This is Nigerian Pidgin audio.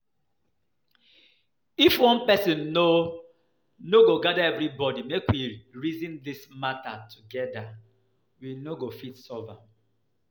If one person no no go gather everybody make we reason dis matter together we no go fit solve am